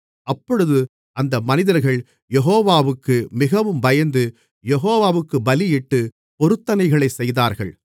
அப்பொழுது அந்த மனிதர்கள் யெகோவாவுக்கு மிகவும் பயந்து யெகோவாவுக்குப் பலியிட்டுப் பொருத்தனைகளைச் செய்தார்கள்